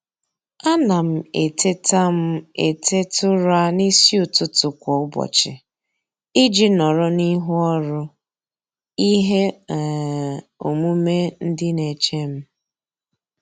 A na m eteta m eteta ụra n'isi ụtụtụ kwa ụbọchị iji nọrọ n'ihu ọrụ ihe um omume ndị na-eche m.